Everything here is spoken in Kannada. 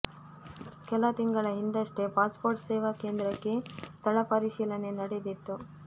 ಕೆಲ ತಿಂಗಳ ಹಿಂದಷ್ಟೇ ಪಾಸ್ಪೋರ್ಟ್ ಸೇವಾ ಕೇಂದ್ರಕ್ಕೆ ಸ್ಥಳ ಪರಿಶೀಲನೆ ನಡೆದಿತ್ತು